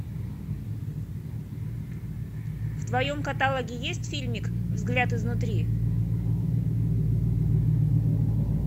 в твоем каталоге есть фильмик взгляд изнутри